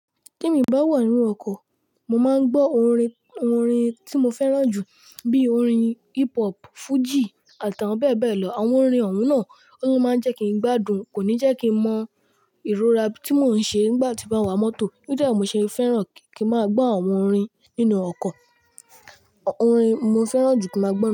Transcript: Tẹ mi bá wà nínú ọkọ̀, mo máa ń gbọ́ orin, orin tí mo fẹ́ràn jù bíi orin hip hop, Fújì à̀ti àwọn bẹ́ẹ̀ bẹ́ẹ̀ lọ. Àwọn orin ọ̀un náà, ló máa ń jẹ́ kí n gbádùn, kò ní jẹ́ kí n mọ ìrora tí mò ń ṣe nígbà tí mo wa mọ́tò. Níbì i mo ṣe fẹ́ràn, kí n máa gbọ́ àwọn orin, nínú ọkọ̀, orin mo fẹ́ràn jù kí n máa gbọ́.